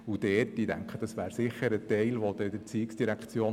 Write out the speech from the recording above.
Dies könnten die ERZ und die BHF leisten: